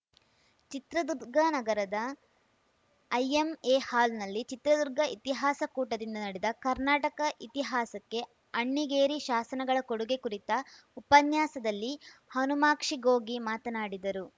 ಚಿತ್ರದುರ್ಗ ನಗರದ ಐಎಂಎಹಾಲ್‌ನಲ್ಲಿ ಚಿತ್ರದುರ್ಗ ಇತಿಹಾಸ ಕೂಟದಿಂದ ನಡೆದ ಕರ್ನಾಟಕ ಇತಿಹಾಸಕ್ಕೆ ಅಣ್ಣಿಗೇರಿ ಶಾಸನಗಳ ಕೊಡುಗೆ ಕುರಿತ ಉಪನ್ಯಾಸದಲ್ಲಿ ಹನುಮಾಕ್ಷಿಗೋಗಿ ಮಾತನಾಡಿದರು